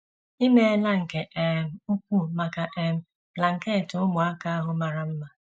I meela nke um ukwuu maka um blanket ụmụaka ahụ mara mma.